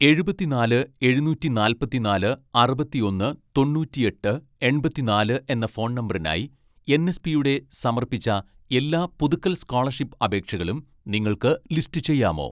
എഴുപത്തിനാല് എഴുനൂറ്റി നാല്പത്തിനാല് അറുപത്തിയൊന്ന് തൊണ്ണൂറ്റിയെട്ട് എൺപത്തിനാല് എന്ന ഫോൺ നമ്പറിനായി എൻ.എസ്.പിയുടെ സമർപ്പിച്ച എല്ലാ പുതുക്കൽ സ്‌കോളർഷിപ്പ് അപേക്ഷകളും നിങ്ങൾക്ക് ലിസ്റ്റ് ചെയ്യാമോ